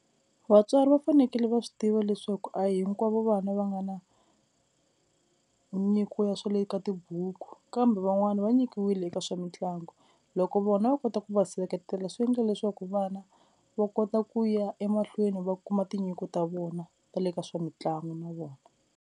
Vatswari va fanekele va swi tiva leswaku a hinkwavo vana va nga na nyiko ya swa le ka tibuku kambe van'wani va nyikiwile eka swa mitlangu, loko vona va kota ku va seketela swi endla leswaku vana va kota ku ya emahlweni va kuma tinyiko ta vona ta le ka swa mitlangu na vona.